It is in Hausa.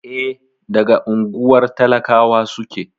E, daga unguwar talakawa suke.